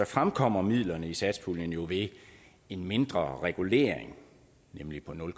fremkommer midlerne i satspuljen jo ved en mindre regulering nemlig på nul